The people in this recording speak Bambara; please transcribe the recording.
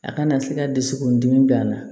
A kana se ka dusukun dimi bila a la